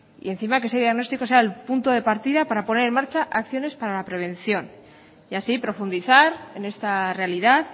y encima que ese diagnóstico sea el punto de partida para poner en marcha acciones para la prevención y así profundizar en esta realidad